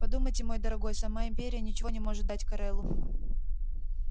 подумайте мой дорогой сама империя ничего не может дать корелу